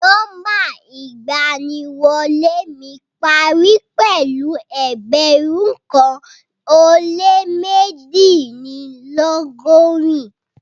Nọmba iganiwole mi pari pẹlu ẹgbẹrun kan o le mejidinlọgọrin